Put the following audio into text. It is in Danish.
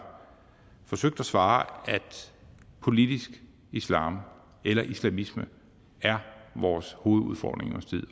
forsøgt at svare at politisk islam eller islamisme er vores hovedudfordring